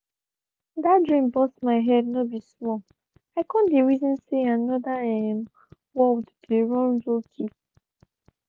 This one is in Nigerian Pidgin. that dream burst my head no be small i con dey reason say another um world dey run lowkey